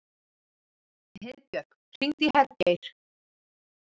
Heiðbjörk, hringdu í Hergeir.